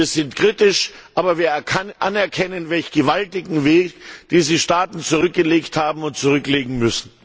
Wir sind kritisch, aber wir erkennen an, welch gewaltigen Weg diese Staaten zurückgelegt haben und zurücklegen müssen!